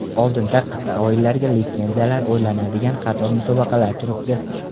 Oldinda qit’a o‘yinlariga litsenziyalar o‘ynaladigan qator musobaqalar turibdi”.